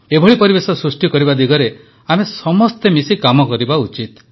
ଏଭଳି ପରିବେଶ ସୃଷ୍ଟି କରିବା ଦିଗରେ ଆମେ ସମସ୍ତେ ମିଶି କାମ କରିବା ଉଚିତ